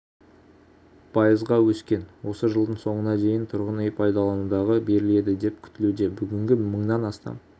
пайызға өскен осы жылдың соңына дейін тұрғын үй пайдалануға беріледі деп күтілуде бүгінде мыңнан астам